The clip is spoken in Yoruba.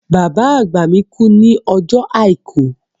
Bàbá àgbà mi kú ní ọjọ́ Àìkú.